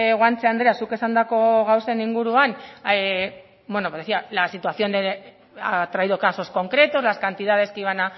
guanche andrea zuk esandako gauzen inguruan bueno me decía la situación ha traído casos concretos las cantidades que iban